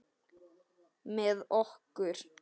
Með okkur?